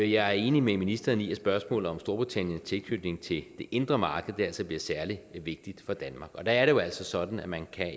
jeg er enig med ministeren i at spørgsmålet om storbritanniens tilknytning til det indre marked altså bliver særlig vigtigt for danmark og der er det jo altså sådan at man